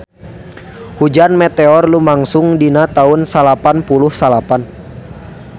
Hujan meteor lumangsung dina taun salapan puluh salapan